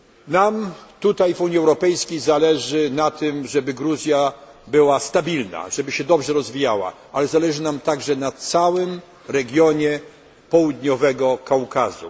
Nam w Unii Europejskiej zależy na tym, żeby Gruzja była stabilna, żeby się dobrze rozwijała, ale zależy nam także na całym regionie Południowego Kaukazu.